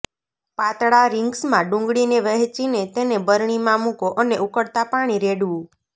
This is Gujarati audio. પાતળા રિંગ્સમાં ડુંગળીને વહેંચીને તેને બરણીમાં મૂકો અને ઉકળતા પાણી રેડવું